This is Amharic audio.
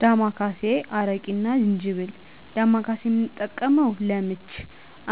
ዳማ ካሴ፣ አረቂ እና ጅንጅብል ዳማ ካሴ የምንጠቀመው ለምች